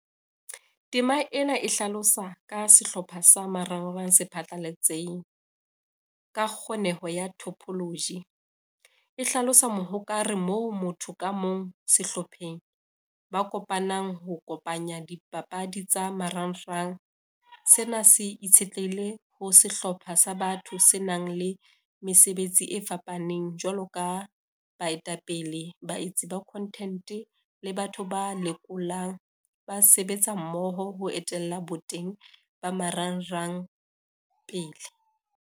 Tema ena e hlalosa ka sehlopha sa marangrang se phatlalletseng, ka kgoneho ya topology, e hlalosa mohokare moo motho ka mong sehlopheng ba kopanang ho kopanya dipapadi tsa marangrang. Sena se itshetlehile ho sehlopha sa batho se nang le mesebetsi e fapaneng, jwalo ka baetapele, baetsi ba content le batho ba lekolang, ba sebetsa mmoho ho etella boteng ba marangrang pele.